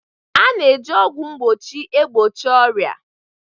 A na-eji ọgwụ mgbochi egbochi ọrịa.